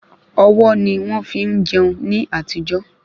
Ọwọ́ ni wọ́n fi ń jẹun ní àtijó